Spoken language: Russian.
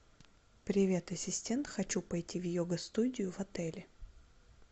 привет ассистент хочу пойти в йога студию в отеле